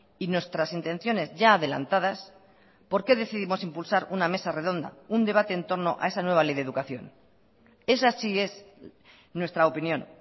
y nuestras intenciones ya adelantadas por qué decidimos impulsar una mesa redonda un debate en torno a esa nueva ley de educación esa sí es nuestra opinión